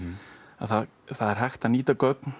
að það er hægt að nýta gögn